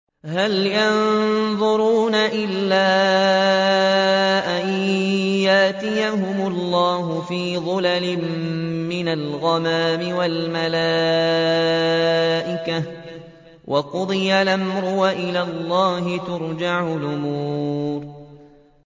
هَلْ يَنظُرُونَ إِلَّا أَن يَأْتِيَهُمُ اللَّهُ فِي ظُلَلٍ مِّنَ الْغَمَامِ وَالْمَلَائِكَةُ وَقُضِيَ الْأَمْرُ ۚ وَإِلَى اللَّهِ تُرْجَعُ الْأُمُورُ